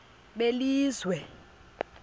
belizwe